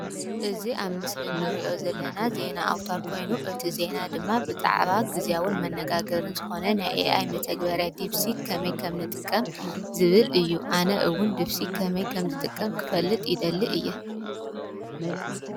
እዚ ዜና ኣውታር ኮይኑ ኣብዚ ሕዚ ኣዘራራቢ ዝኾነ ኤአይ ከመይ ከም ንጥቀም ዘርኢ እዪ።